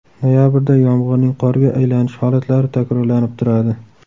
Noyabrda yomg‘irning qorga aylanish holatlari takrorlanib turadi.